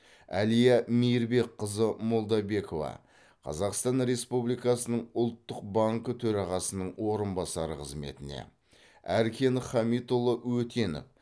әлия мейірбекқызы молдабекова қазақстан республикасының ұлттық банкі төрағасының орынбасары қызметіне әркен хамитұлы өтенов